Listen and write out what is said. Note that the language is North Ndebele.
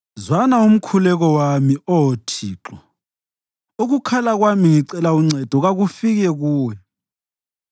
Zwana umkhuleko wami, Oh Thixo; ukukhala kwami ngicela uncedo kakufike kuwe.